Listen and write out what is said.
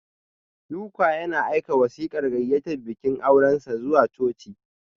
Luka yana aika wasiƙar gayyatar bikin aurensa zuwa coci.